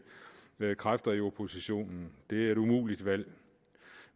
kræfter i oppositionen det er et umuligt valg